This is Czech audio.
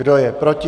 Kdo je proti?